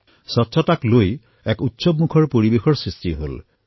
স্বচ্ছতাক লৈ উৎসৱমুখৰ পৰিৱেশৰ সৃষ্টি হল